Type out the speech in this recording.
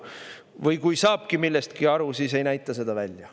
Või kui saabki millestki aru, siis ei näita seda välja.